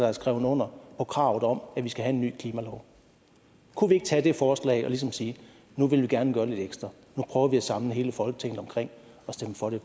har skrevet under på kravet om at vi skal have en ny klimalov kunne vi ikke tage det forslag og ligesom sige nu vil vi gerne gøre lidt ekstra nu prøver vi at samle hele folketinget om at stemme for det